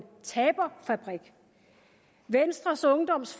taberfabrik venstres ungdoms